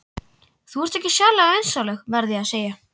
Þú ert ekki sérlega vinsamleg, verð ég að segja.